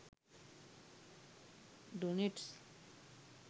doenets